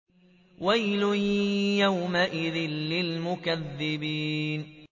وَيْلٌ يَوْمَئِذٍ لِّلْمُكَذِّبِينَ